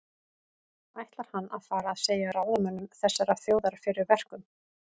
Ætlar hann að fara að segja ráðamönnum þessarar þjóðar fyrir verkum?